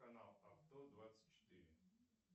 канал авто двадцать четыре